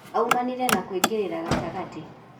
Aumanirie na kũingĩrĩra gatagatĩ